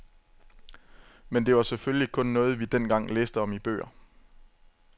Men det var selvfølgelig kun noget vi dengang læste om i bøger.